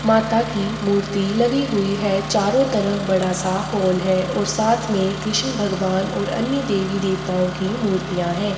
माता की मूर्ति लगी हुई है चारों तरफ बड़ा- सा हॉल है और साथ में कृष्ण भगवान और अन्य देवी- देवताओं की मूर्तियाँ हैं।